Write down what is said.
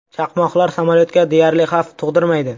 Chaqmoqlar samolyotga deyarli xavf tug‘dirmaydi.